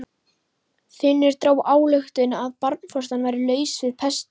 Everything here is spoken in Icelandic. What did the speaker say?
Finnur dró þá ályktun að barnfóstran væri laus við pestina.